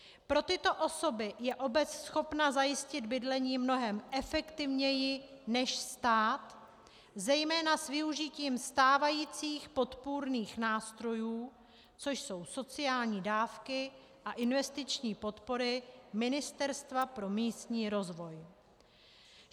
Pro tyto osoby je obec schopna zajistit bydlení mnohem efektivněji než stát, zejména s využitím stávajících podpůrných nástrojů, což jsou sociální dávky a investiční podpory Ministerstva pro místní rozvoj.